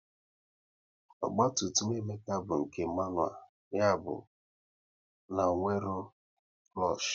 Ogba tum tum Emeka bụ nke manual, ya bụ na ọ nwere klush